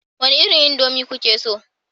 Wani irin indomie kuke so